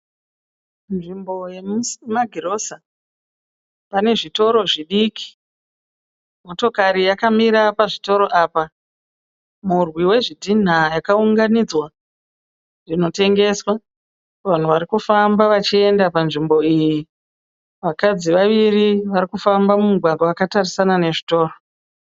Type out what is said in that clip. Nzvimbo yemumagirosa ,panezvitoro zvidiki. Motikare yakamira pazvitoro apa, mhurwi wezvidhina yakawunganidza apa inotengeswa. Vanhu varikufamba vachiyenda panzvimbo iyi vakadzi vaviri varikufamba mumugwagwa vakatarisana nezvitoro.